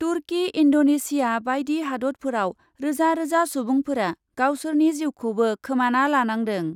तुर्कि Indonesia बायदि हादतफोराव रोजा रोजा सुबुंफोरा गावसोरनि जिउखौबो खोमाना लानांदों।